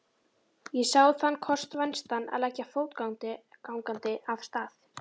Ég sá þann kost vænstan að leggja fótgangandi af stað.